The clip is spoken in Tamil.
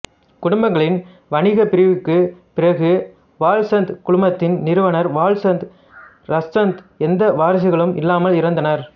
குடும்பங்களின் வணிகப் பிரிவுக்குப் பிறகு வால்சந்த் குழுமத்தின் நிறுவனர் வால்சந்த் இராச்சந்த் எந்த வாரிசுகளும் இல்லாமல் இறந்தார்